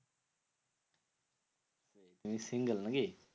তুমি single নাকি?